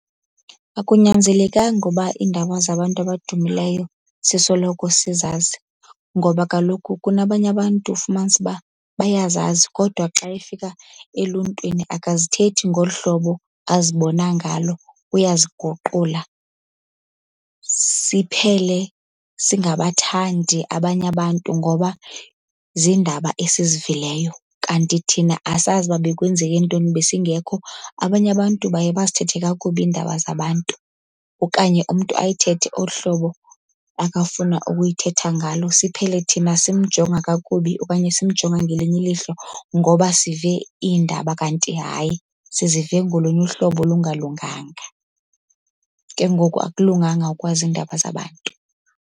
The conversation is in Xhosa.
Akunyanzelekanga uba iindaba zabantu abadumileyo sisoloko sizazi, Ngoba kaloku kunabanye abantu fumanise uba bayazazi kodwa xa efika eluntwini, akazithethi ngolu hlobo azibona ngalo uyaziguqula. Siphele singabathandi abanye abantu ngoba ziindaba esizivileyo kanti thina asazi uba bekwenzeke ntoni, besingekho. Abanye abantu baye bazithethe kakubi iindaba zabantu okanye umntu ayithethe olu hlobo akafuna ukuyithetha ngalo, siphele thina simjonga kakubi okanye simjonga ngelinye ilihlo ngoba sive iindaba. Kanti hayi sizive ngolunye uhlobo olungalunganga. Ke ngoku akulunganga ukwazi iindaba zabantu.